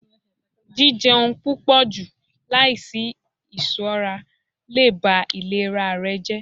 jijẹun pupọju laisi iṣọra le ba ilera rẹ jẹ.